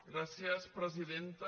gràcies presidenta